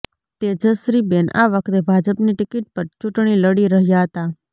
તેજશ્રીબેન આ વખતે ભાજપની ટિકિટ પર ચૂંટણી લડી રહ્યાં હતાં